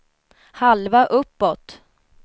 halva uppåt